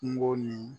Kungo ni